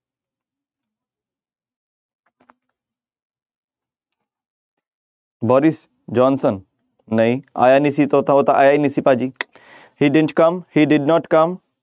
Boris Johnson ਨਹੀਂ ਆਇਆ ਨੀ ਸੀ ਉਹ ਤਾਂ ਆਇਆ ਹੀ ਨੀ ਸੀ ਭਾਜੀ he did not come